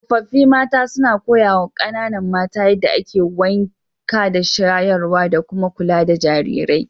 Tsofaffi mata suna koyawa kananan mata yadda ake wanka da shayarwa, da kuma kula da jarirai.